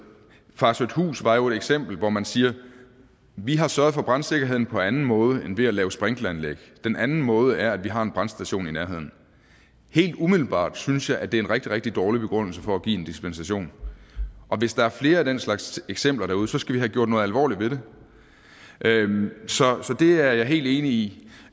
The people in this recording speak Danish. farsøhthus var jo et eksempel hvor man siger vi har sørget for brandsikkerheden på anden måde end ved at lave sprinkleranlæg og den anden måde er at vi har en brandstation i nærheden helt umiddelbart synes jeg det er en rigtig rigtig dårlig begrundelse for at give en dispensation og hvis der er flere af den slags eksempler derude så skal vi have gjort noget alvorligt ved det så det er jeg helt enig i